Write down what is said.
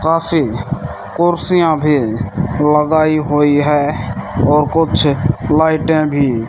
Coffee कुर्सियां भी लगाई हुई है और कुछ लाइटे भी।